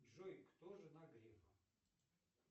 джой кто жена грефа